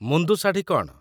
ମୁନ୍ଦୁ ଶାଢ଼ୀ କ'ଣ?